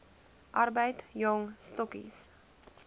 arbeid jong stokkies